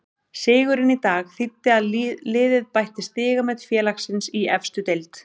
Sigurinn í dag þýddi að liðið bætti stigamet félagsins í efstu deild.